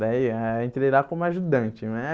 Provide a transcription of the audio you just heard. Daí, ah entrei lá como ajudante, né?